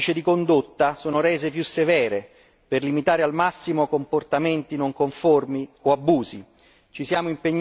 Le norme del codice di condotta sono rese più severe per limitare al massimo comportamenti non conformi o abusi.